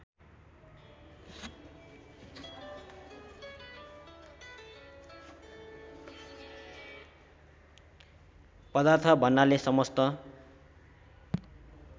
पदार्थ भन्नाले समस्त